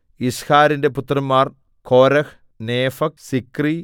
യിസ്ഹാരിന്റെ പുത്രന്മാർ Korah Nepheg Sikri